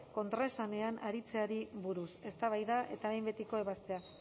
kontraesanean aritzeari buruz eztabaida eta behin betiko ebazpena